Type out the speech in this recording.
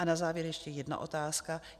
A na závěr ještě jedna otázka.